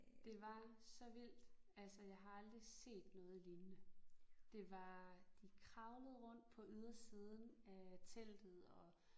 Det var så vildt altså jeg har aldrig set noget lignende. Det var de kravlede rundt på ydersiden af teltet og